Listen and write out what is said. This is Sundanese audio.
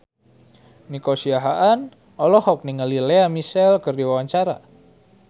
Nico Siahaan olohok ningali Lea Michele keur diwawancara